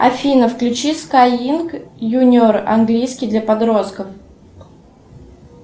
афина включи скай линк юниор английский для подростков